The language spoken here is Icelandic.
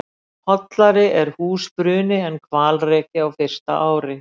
Hollari er húsbruni en hvalreki á fyrsta ári.